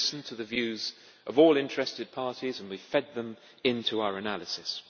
We have listened to the views of all interested parties and fed them into our analysis.